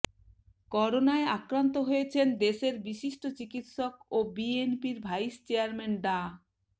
করোনায় আক্রান্ত হয়েছেন দেশের বিশিষ্ট চিকিৎসক ও বিএনপির ভাইস চেয়ারম্যান ডা